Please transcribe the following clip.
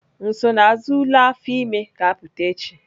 Nsonaazụ ule afọ ime ga-apụta echi.